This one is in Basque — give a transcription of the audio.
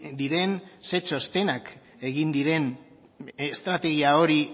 diren ze txostenak egin diren estrategia